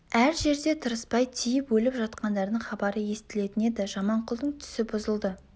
әр жерде тырыспай тиіп өліп жатқандардың хабары естілетін еді жаманқұлдың түсі бұзылды